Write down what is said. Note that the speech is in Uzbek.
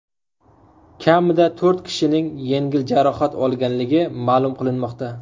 Kamida to‘rt kishining yengil jarohat olganligi ma’lum qilinmoqda.